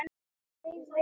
Leið vel.